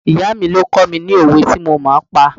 Ìyá mi ló kọ́ I ní òwe tí mo pa.